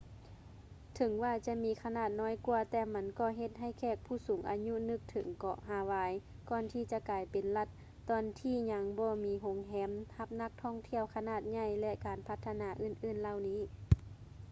ເຖິງວ່າຈະມີຂະໜາດນ້ອຍກວ່າ ແຕ່ມັນກໍເຮັດໃຫ້ແຂກຜູ້ສູງອາຍຸນຶກເຖິງເກາະຮາວາຍກ່ອນທີ່ຈະກາຍເປັນລັດ ຕອນທີ່ຍັງບໍ່ມີໂຮງແຮມຮັບນັກທ່ອງທ່ຽວຂະໜາດໃຫຍ່ ແລະ ການພັດທະນາອື່ນໆເຫຼົ່ານີ້